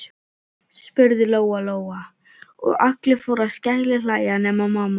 spurði Lóa Lóa, og allir fóru að skellihlæja nema mamma.